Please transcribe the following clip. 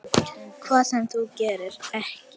Hvað sem þú gerir, ekki.